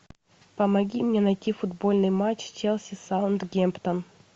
помоги мне найти футбольный матч челси саутгемптон